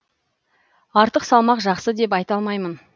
артық салмақ жақсы деп айта алмаймын